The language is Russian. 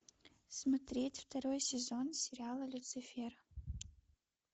смотреть второй сезон сериала люцифер